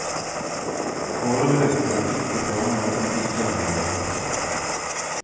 Foreløpig er det ikke planer om ytterligere oppkjøp.